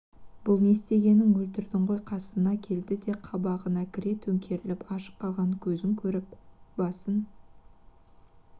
бұл не істегенің өлтірдің ғой қасына келді де қабағына кіре төңкеріліп ашық қалған көзін көріп басын